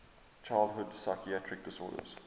childhood psychiatric disorders